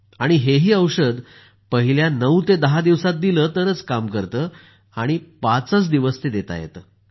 आणि हे ही औषध पहिल्या नऊ ते दहा दिवसात दिलं तरच काम करतं आणि पाचच दिवस ते देता येतं